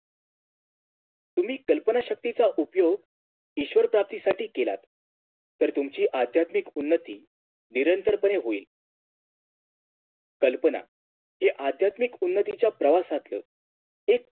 तुम्ही कल्पना शक्तीचा उपयोग ईश्वर प्राप्तीसाठी केलात तर तुमची आध्यात्माक उन्नती निरंतरपणे होईल कल्पना हि आध्यत्मिक अन्नतीच्या प्रवासातलं एक